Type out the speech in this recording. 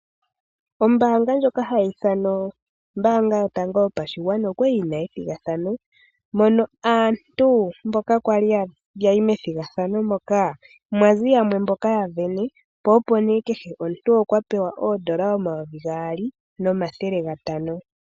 Ombaanga yotango yopashigwana oyali yina ethigathano, mpono aantu yali yayi methigathano moka mwazi yamwe mboka yasindana nakehe omuntu okwali a pewa oodola dhaNamibia omayovi gaali nomathele gatano.